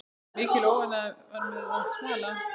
Mikil óánægja var meðal slava.